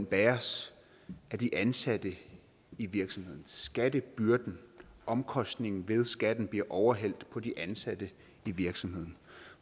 bæres af de ansatte i virksomheden skattebyrden omkostningen ved skatten bliver overhældt på de ansatte i virksomheden